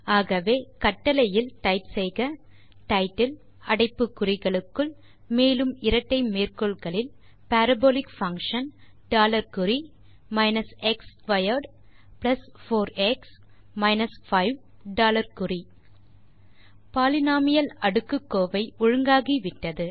ஆகவே கட்டளையில் டைப் செய்க டைட்டில் அடைப்பு குறிகளுக்குள் மேலும் இரட்டை மேற்கோள் குறிகளில் பாரபோலிக் பங்ஷன் டாலர் குறி minus x squared plus four x minus 5 dollar குறி பாலினோமியல் அடுக்குக்கோவை ஒழுங்காகிவிட்டது